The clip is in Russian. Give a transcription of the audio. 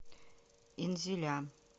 инзиля